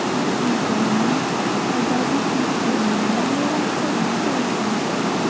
ìdààmú ọba tó ti ṣẹ̀wọ̀n lamẹ́ríkà nígbà kan